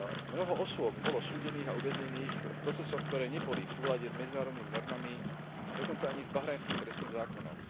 Mnoho osôb bolo súdených a uväznených v procesoch, ktoré neboli v súlade s medzinárodnými normami a dokonca ani s bahrajnským trestným zákonom.